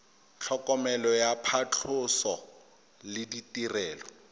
tlhokomelo ya phatlhoso le ditirelo